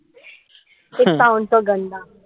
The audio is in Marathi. पाहून तो